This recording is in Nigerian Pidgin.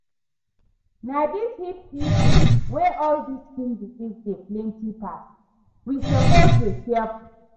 Na this heat season wey all dis skin disease dey plenty pass, we suppose dey careful